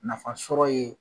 Nafasɔrɔ ye